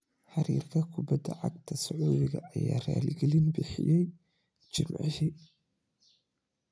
Xiriirka kubadda cagta Sacuudiga ayaa raaligelin bixiyay Jimcihii.